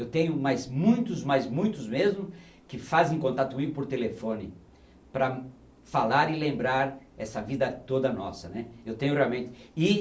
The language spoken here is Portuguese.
Eu tenho mais muitos, mais muitos mesmo, que fazem contato comigo por telefone para falar e lembrar essa vida toda nossa, né. Eu tenho realmente e